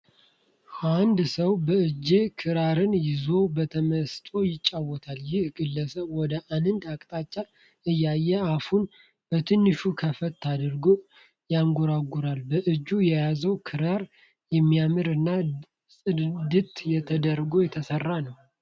አንድ ሰው በእጁ ክራርን ይዞ በተመስጦ ይጫወታል። ይህ ግለሰብ ወደ አንድ አቅጣጫ እያየ አፉን በትንሹ ከፈት አድርጎ ያንጎራጉራል። በእጁ የያዘውም ክራር የሚያምር እና ጽድት ተደርጎ የተሰራ ነው።